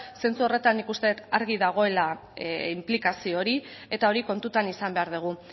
sentsu horretan ikusten argi dagoela inplikazio hori eta hori kontutan izan behar dugu